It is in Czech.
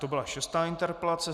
To byla šestá interpelace.